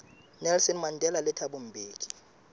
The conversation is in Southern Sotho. nelson mandela le thabo mbeki